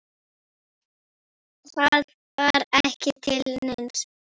Það var ekki til neins.